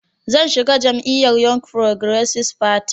Zan shiga jam'iyyar Young Progressive Party (YPP)